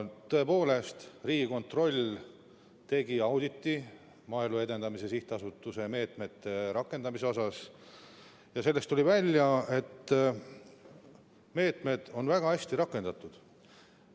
Tõepoolest, Riigikontroll tegi auditi Maaelu Edendamise Sihtasutuse meetmete rakendamise kohta ja sellest tuli välja, et meetmed on väga hästi rakendatud.